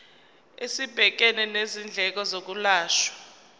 esibhekene nezindleko zokwelashwa